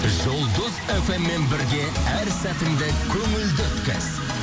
жұлдыз эф эм мен бірге әр сәтіңді көңілді өткіз